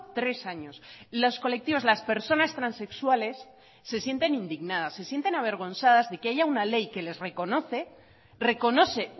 tres años los colectivos las personas transexuales se sienten indignadas se sienten avergonzadas de que haya una ley que les reconoce reconoce